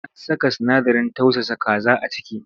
An saka sinadarin tausasa kaza a ciki?